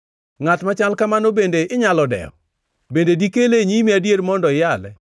Ngʼat machal kamano bende inyalo dewo? Bende dikele e nyimi adier mondo iyale?